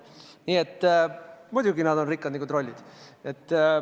Nii et muidugi nad on rikkad nagu trollid.